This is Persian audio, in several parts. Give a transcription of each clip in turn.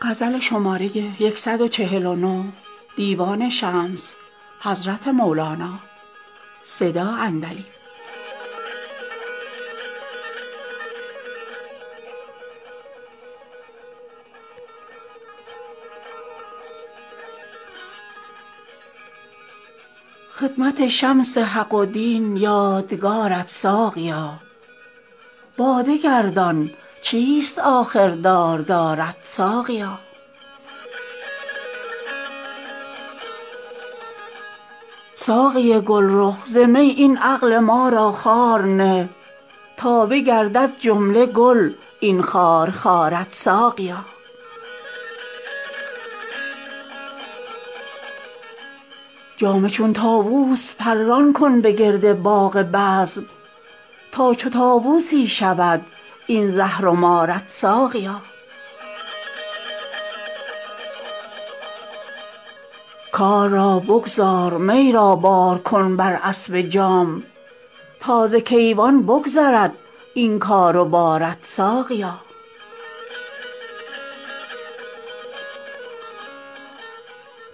خدمت شمس حق و دین باد کارت ساقیا باده گردان چیست آخر داردارت ساقیا ساقی گلرخ ز می این عقل ما را خار نه تا بگردد جمله گل این خارخارت ساقیا جام چون طاووس پران کن به گرد باغ بزم تا چو طاووسی شود این زهر و مارت ساقیا کار را بگذار می را بار کن بر اسب جام تا ز کیوان بگذرد این کار و بارت ساقیا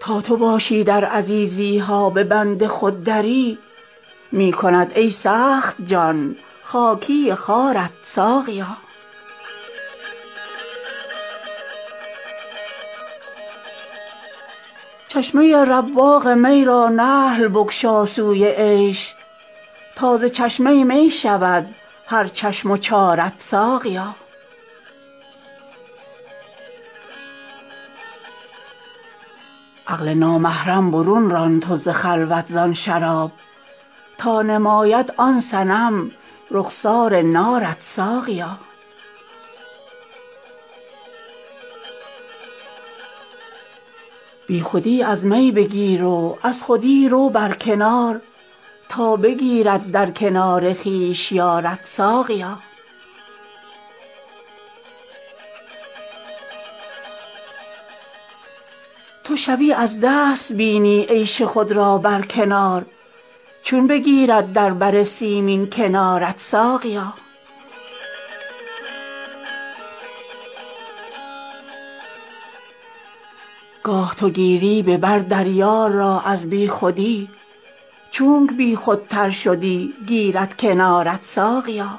تا تو باشی در عزیزی ها به بند خود دری می کند ای سخت جان خاکی خوارت ساقیا چشمه ی رواق می را نحل بگشا سوی عیش تا ز چشمه می شود هر چشم و چارت ساقیا عقل نامحرم برون ران تو ز خلوت زان شراب تا نماید آن صنم رخسار نارت ساقیا بیخودی از می بگیر و از خودی رو بر کنار تا بگیرد در کنار خویش یارت ساقیا تو شوی از دست بینی عیش خود را بر کنار چون بگیرد در بر سیمین کنارت ساقیا گاه تو گیری به بر در یار را از بیخودی چونک بیخودتر شدی گیرد کنارت ساقیا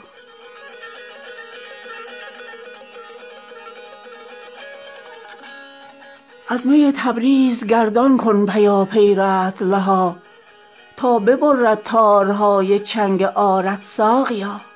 از می تبریز گردان کن پیاپی رطل ها تا ببرد تارهای چنگ عارت ساقیا